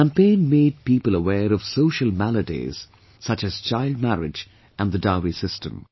This campaign made people aware of social maladies such as childmarriage and the dowry system